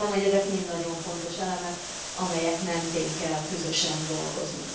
Azt gondolom, hogy ezek mind nagyon fontos elemek, amelyek mentén kell közösen dolgozni.